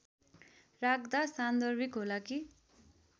राख्दा सान्दर्भिक होला कि